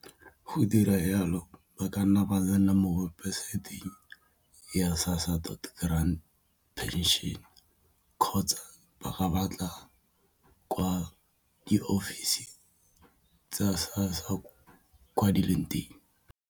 Go dira yalo ba ka nna ba tsena mo website-ng ya SASSA dot grant pension kgotsa ba ka batla kwa di-ofising tsa SASSA kwa di leng teng.